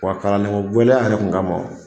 Wa kalandenko gɛlɛya yɛrɛ tun kama